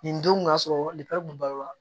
Nin don kun ka sɔrɔ kun b'a la